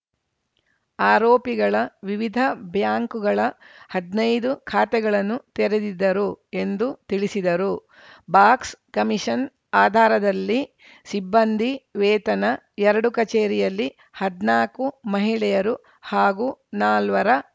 ಆರೋಪಿಗಳ ವಿವಿಧ ಬ್ಯಾಂಕುಗಳ ಹದ್ನೈದು ಖಾತೆಗಳನ್ನು ತೆರೆದಿದ್ದರು ಎಂದು ತಿಳಿಸಿದರು ಬಾಕ್ಸ್‌ಕಮಿಷನ್‌ ಆಧಾರದಲ್ಲಿ ಸಿಬ್ಬಂದಿ ವೇತನ ಎರಡು ಕಚೇರಿಯಲ್ಲಿ ಹದ್ನಾಕು ಮಹಿಳೆಯರು ಹಾಗೂ ನಾಲ್ವರ